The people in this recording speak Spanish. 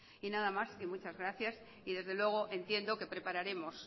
y nada más y muchas gracias y desde luego entiendo que prepararemos